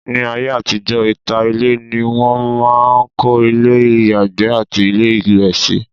ní ayé àtijọ́, ìta ilé ni wọn máà ń kọ́ ilé ìyàgbẹ́ àti ilé ìwẹ̀ sí